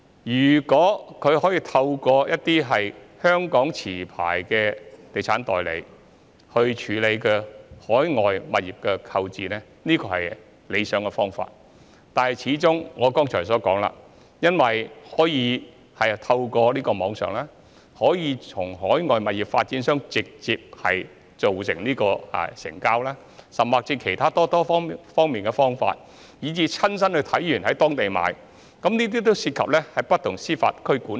如果市民可以透過香港持牌地產代理來購買海外物業，這是理想的做法，但正如我剛才所說，市民可以透過網絡直接與海外物業發展商達成交易，甚至可以透過很多其他方法，例如親身到當地視察後才購買，這些均涉及不同的司法管轄區。